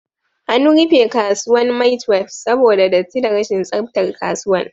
An rufe kasuwan maitwef saboda datti da rashin tsaftar kasuwan